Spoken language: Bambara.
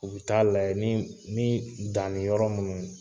U bɛ taa layɛ ni ni danni yɔrɔ minnu